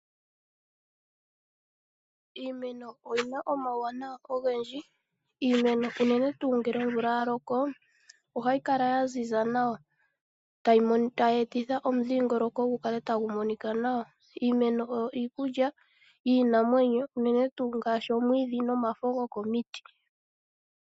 Iimeno oyina omawuwanawa ogendji, iimeno unene tuu ngele omvula yalokoo, ohayikala yaziza nawa tayeetitha omudhingoloko gukale tagumonika nawa. Iimeno oyo iikulya yiinamwenyo unene tuu gaashi omwiidhi nomafo gokomiti